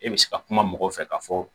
E bɛ se ka kuma mɔgɔw fɛ ka fɔ